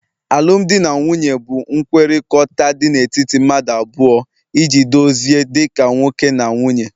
alụmdi na nwunye bụ nkwekọrịta dị n'etiti mmadụ abụọ iji dozie dị ka nwoke na nwunye